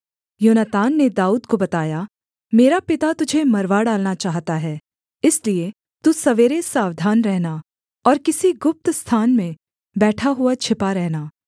योनातान ने दाऊद को बताया मेरा पिता तुझे मरवा डालना चाहता है इसलिए तू सवेरे सावधान रहना और किसी गुप्त स्थान में बैठा हुआ छिपा रहना